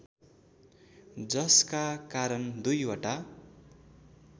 जसका कारण दुईवटा